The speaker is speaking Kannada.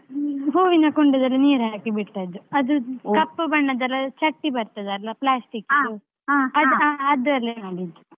ಹೂವಿನ ಕುಂಡದಲ್ಲಿ ನೀರ್ ಹಾಕಿ ಬಿಟ್ಟದ್ದು ಅದು ಬಣ್ಣದೆಲ್ಲಾ ಚಟ್ಟಿ ಬರ್ತದಲ್ಲ ಅದ್ ಅದ್ರಲ್ಲಿ ಮಾಡಿದ್ದು.